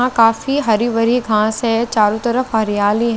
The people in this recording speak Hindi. यहा काफी हरी भरी घास है चारो तरफ हरियाली--